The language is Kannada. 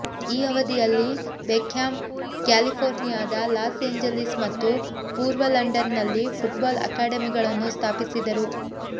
ಈ ಅವಧಿಯಲ್ಲಿ ಬೆಕ್ಹ್ಯಾಮ್ ಕ್ಯಾಲಿಫೋರ್ನಿಯಾದ ಲಾಸ್ ಎಂಜಲೀಸ್ ಮತ್ತು ಪೂರ್ವ ಲಂಡನ್ನಲ್ಲಿ ಫುಟ್ಬಾಲ್ ಅಕಾಡೆಮಿಗಳನ್ನು ಸ್ಥಾಪಿಸಿದರು